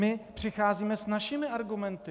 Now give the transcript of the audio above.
My přicházíme s našimi argumenty.